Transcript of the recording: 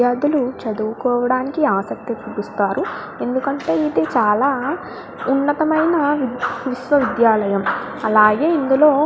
చదువుకో డానికి ఆసక్తి చూపిస్తారు ఎందుకంటే ఇది చాల ఉన్నతమైన విశ్వా విద్యాలయం.